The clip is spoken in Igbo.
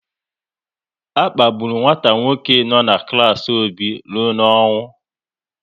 A kpagburu nwata nwoke no n'klas Obi rụọ n'ọnwụ